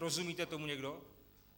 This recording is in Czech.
Rozumíte tomu někdo?